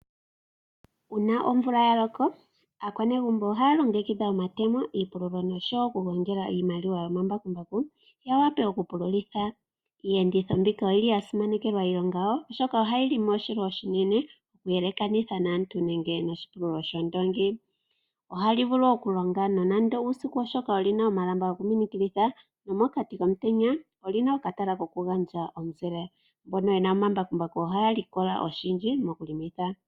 Uuna omvula ya loko, aakwanegumbo ohaya longekidha omatemo, iipululo noshowo oku gongela iimaliwa lyomambakumbaku, ya wape oku pululitha. Iiyenditho mbino oyili ya simanekelwa iilonga yawo, oshoka ohayi longo oshilwa oshinene oku yelekanitha naantu nenge noshipululo shoondoongi. Ohali vulu oku longa nonando uusiku oshoka olina omalamba goku minikilitha nomokati komutenya olina okatala koku gandja omuzile, mbono yena omambakumbaku ohaya likola oshindji moku longitha.